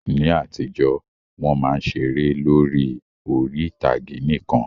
Ní àtijọ́, Wọ́n máa ń ṣeré lórí orí-ìtàgé nìkan